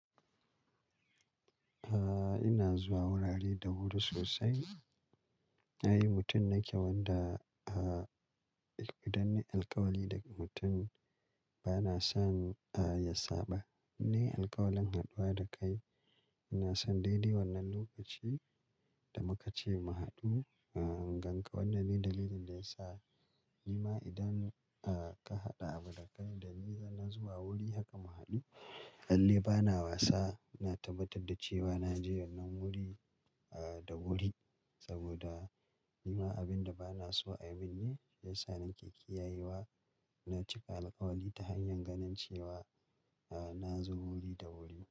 Aaa, ina zuwa wurare da wuri sosai. Ni ai mutum nake wadda, aaa, idan na yi alkawali da mutum bana son, aaa, ya saba. In nayi alkawalan haduwa da kai, ina son daidai wannan lokaci da muka ce mu haɗu. Aaa, in ganka wannan ne dalilin da ya sa ni ma idan, aaa, ka haɗu abu da kai da ni zan zo zuwa wuri haka mu haɗu. Lalle bana wasa. Ina tabbatar da cewa na je wannan wuri, aaa, da wuri saboda ni ma abin da ba na so a yi min ne ya sa nake kiyayewa ina cika alkawali ta hanyar ganin cewa, aaa, na zo wuri da wuri.